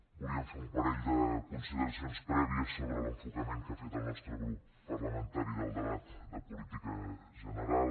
volíem fer un parell de consideracions prèvies sobre l’enfocament que ha fet el nostre grup parlamentari del debat de política general